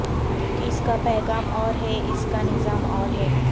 اس کا پیغام اور ہے اس کا نظام اور ہے